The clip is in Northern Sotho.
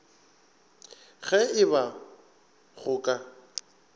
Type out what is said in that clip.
ge e ba go ka